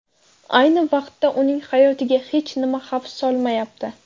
Ayni vaqtda uning hayotiga hech nima xavf solmayapti.